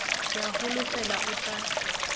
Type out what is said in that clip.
ke a holofela o tla